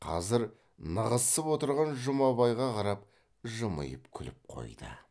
қазір нығызсып отырған жұмабайға қарап жымиып күліп қойды